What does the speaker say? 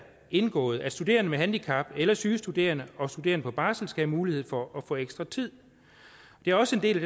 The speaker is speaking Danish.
indgår i aftalen at studerende med handicap syge studerende og studerende på barsel skal have mulighed for at få ekstra tid det er også en del